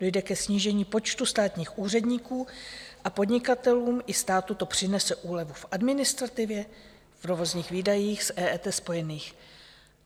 Dojde ke snížení počtu státních úředníků a podnikatelům i státu to přinese úlevu v administrativě, v provozních výdajích s EET spojených.